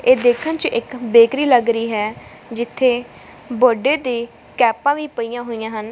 ਇਹ ਦੇਖਣ ਚ ਇੱਕ ਬੇਕਰੀ ਲੱਗ ਰਹੀ ਹੈ ਜਿੱਥੇ ਬਰਥਡੇ ਦੀ ਕੈਪਾਂ ਵੀ ਪਈਆਂ ਹੋਈਆਂ ਹਨ।